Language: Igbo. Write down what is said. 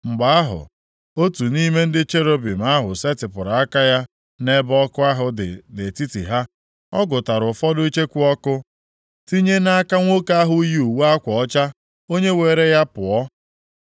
Mgbe ahụ, otu nʼime ndị cherubim ahụ setịpụrụ aka ya nʼebe ọkụ ahụ dị nʼetiti ha. Ọ gụtara ụfọdụ icheku ọkụ tinye nʼaka nwoke ahụ yi uwe akwa ọcha onye weere ya pụọ.